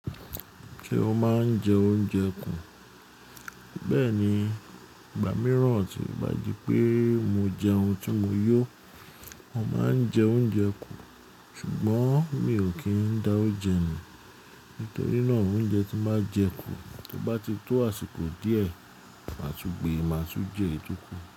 Ṣé o máa ń jẹ oúnjẹ kù? Bẹ́ẹ̀ni, ìgbà mìíràn tí mo bá jí pé mo jẹ ohun tí mo yó, mo máa ń jẹ oúnjẹ kù, ṣùgbọ́n mi ò kí ń dá ounjẹ nù, nítorí náà oúnjẹ tí mo baa jẹ kù, tó bá ti tó àsìkò díẹ̀, máa tú gbé, máa tún jẹ eyitokú.